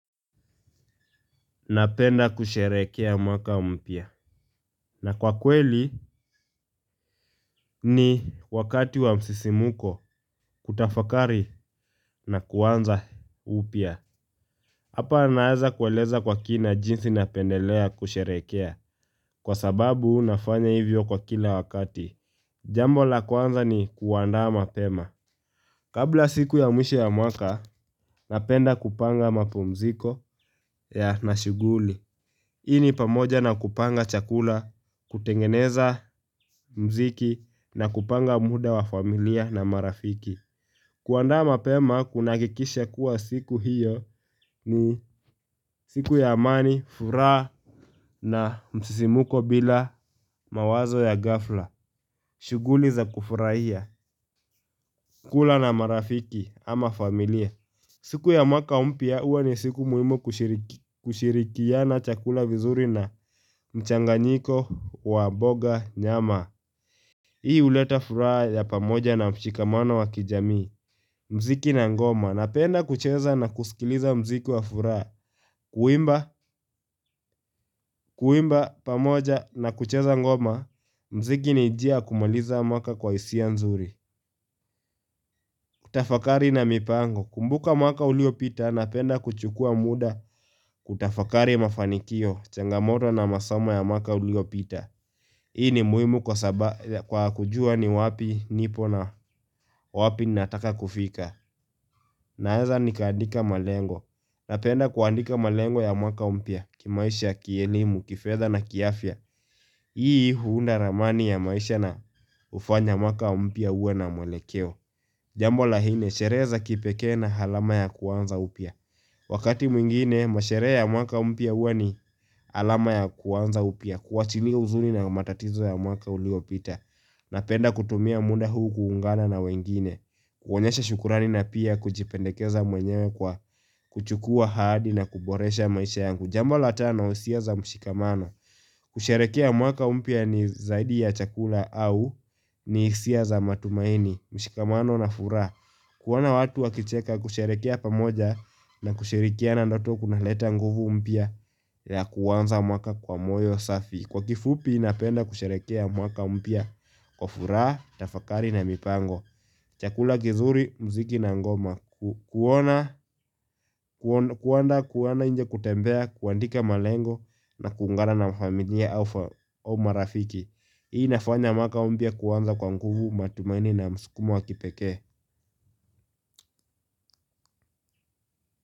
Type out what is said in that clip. Napenda kusherehekea mwaka mpya. Na kwa kweli ni wakati wa msisimuko kutafakari na kuanza upya. Hapa naeza kueleza kwa kina jinsi na pendelea kusherehekea. Kwa sababu nafanya hivyo kwa kila wakati. Jambo la kuanza ni kuandaa mapema. Kabla siku ya mwisho ya mwaka, napenda kupanga mapumziko ya nashuguli. Hii ni pamoja na kupanga chakula, kutengeneza mziki na kupanga muda wa familia na marafiki kuandaa mapema kunaakikisha kuwa siku hiyo ni siku ya amani, furaha na msisimuko bila mawazo ya gafla shuguli za kufurahia, kula na marafiki ama familia siku ya mwaka mpya huwa ni siku muhimu kushirikiana chakula vizuri na mchanganyiko wa boga nyama. Hii uleta furaha ya pamoja na mshikamano wa kijamii. Mziki na ngoma. Napenda kucheza na kusikiliza mziki wa furaha. Kuimba, kuimba, pamoja na kucheza ngoma. Mziki ni njia ya kumaliza mwaka kwa hisia nzuri. Kutafakari na mipango. Kumbuka mwaka uliopita napenda kuchukua muda kutafakari mafanikio, changamoto na masoma ya maka uliopita Hii ni muhimu kwa kujua ni wapi nipo na wapi nataka kufika Naeza ni kaandika malengo na penda kuandika malengo ya mwaka mpya, kimaisha, kielimu, kifedha na kiafya Hii huunda ramani ya maisha na hufanya mwaka mpya uwe na mwelekeo Jambo la nne, sherehe za kipeke na halama ya kuanza upia Wakati mwingine, masherehe ya mwaka mpya huwa ni alama ya kuwanza upya, kuwachilia uzuni na matatizo ya mwaka uliopita, napenda kutumia muda huu kuungana na wengine. Kuonyesha shukurani na pia kujipendekeza mwenyewe kwa kuchukua hadi na kuboresha maisha yangu. Jambo la tano usia za mshikamano. Kusherehekea mwaka mpya ni zaidi ya chakula au ni hisia za matumaini, mshikamano na furaha. Kuona watu wakicheka kusherehekea pamoja na kushirikiana ndoto kunaleta nguvu mpya ya kuanza mwaka kwa moyo safi Kwa kifupi napenda kusherekea mwaka mpya kwa furaha, tafakari na mipango Chakula kizuri, mziki na ngoma kuenda kuona nje kutembea, kuandika malengo na kuungana na mafamilia au marafiki Hii inafanya mwaka mpya kuwanza kwa nguvu matumaini na msukumo wa kipekee.